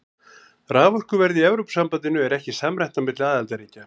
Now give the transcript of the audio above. Raforkuverð í Evrópusambandinu er ekki samræmt á milli aðildarríkja.